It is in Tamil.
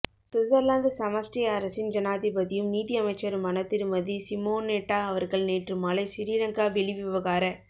சுவிட்சர்லாந்து சமஷ்டி அரசின் ஜனாதிபதியும் நீதியமைச்சருமான திருமதி சிமோநெட்டா அவர்கள் நேற்று மாலை சிறிலங்கா வெளிவிவகார